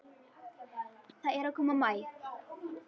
Það er að koma maí.